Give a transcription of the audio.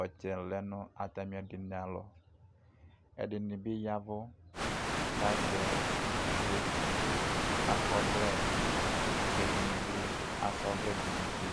ɔtsɛ lɛnʋ atamɩ ɛdɩnɩ alɔ ɛdɩnɩbɩ ya ɛvʋ kʋ azɛ gagi akɔ ɔvlɛ kʋ ɛdɩnɩbɩ asa ɔvlɛdʋ nʊ ʋtɩ